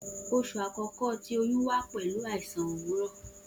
Oṣu akọkọ ti oyun wa pẹlu aisan owurọ.